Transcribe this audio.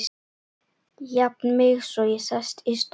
Jafna mig svo og sest í stól.